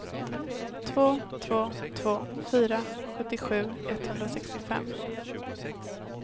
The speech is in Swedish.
två två två fyra sjuttiosju etthundrasextiofem